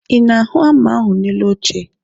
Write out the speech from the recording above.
Ị na-ahụ hama ahụ dị n'elu oche?